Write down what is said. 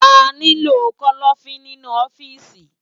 Àniló kòlòfin ninú òfìsí